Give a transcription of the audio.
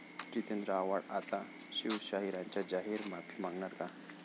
जितेंद्र आव्हाड आता शिवशाहिरांची जाहीर माफी मागणार का?